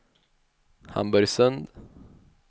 Hamburgsund